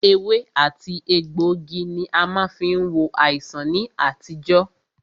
Ewé àti egbògi ní a má fí ń wo àìsàn ní àtijọ́.